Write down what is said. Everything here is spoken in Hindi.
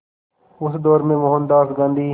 उस दौर में मोहनदास गांधी